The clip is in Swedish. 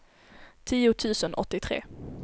tio tusen åttiotre